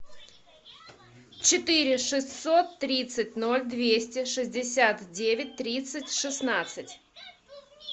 четыре шестьсот тридцать ноль двести шестьдесят девять тридцать шестнадцать